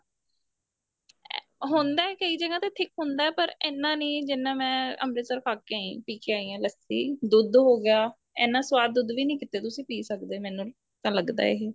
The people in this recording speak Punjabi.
ਇਹ ਹੁੰਦਾ ਕਈ ਜਗ੍ਹਾ ਤੇ thick ਹੁੰਦਾ ਪਰ ਇੰਨਾ ਨੀਂ ਜਿੰਨਾ ਮੈਂ ਅੰਮ੍ਰਿਤਸਰ ਖਾ ਕੇ ਆਈ ਆ ਪੀ ਕੇ ਆਈ ਆ ਲੱਸੀ ਦੁੱਧ ਹੋ ਗਿਆ ਇੰਨਾ ਸਵਾਦ ਦੁੱਧ ਵੀ ਨੀਂ ਤੁਸੀਂ ਪੀ ਸਕਦੇ ਮੈਨੂੰ ਤਾਂ ਲੱਗਦਾ ਇਹੀ